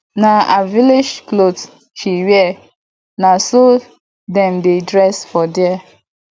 na her village cloth she wear na so dem dey dress for there